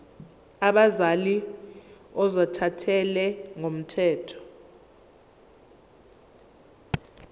abazali ozothathele ngokomthetho